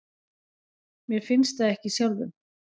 Mér finnst það ekki sjálfum.